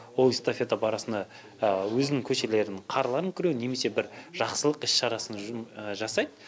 ол эстафета барысында өзінің көшелерінің қарларын күреу немесе бір жақсылық іс шарасын жасайды